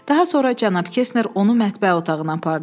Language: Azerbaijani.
Daha sonra cənab Kestner onu mətbəx otağına apardı.